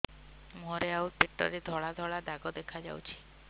ମୁହଁରେ ଆଉ ପେଟରେ ଧଳା ଧଳା ଦାଗ ଦେଖାଯାଉଛି